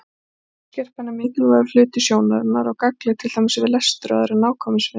Sjónskerpan er mikilvægur hluti sjónarinnar og gagnleg til dæmis við lestur og aðra nákvæmnisvinnu.